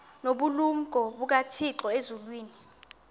nobulumko bukathixo elizwini